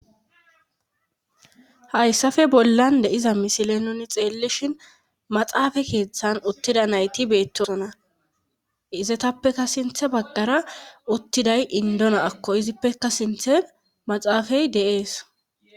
hayssafe bollan de'iza misile nuni xeellishhin maxaafa keeththan uttida nayti beettosona izetappeka sinthe baggara uttiday indo naakko izippeka sinthe maxaafay de'ees